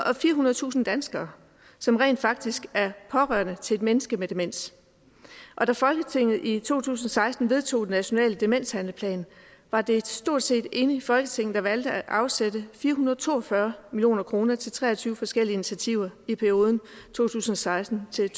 og firehundredetusind danskere som rent faktisk er pårørende til et menneske med demens og da folketinget i to tusind og seksten vedtog den nationale demenshandlingsplan var det et stort set enigt folketing der valgte at afsætte fire hundrede og to og fyrre million kroner til tre og tyve forskellige initiativer i perioden to tusind og seksten til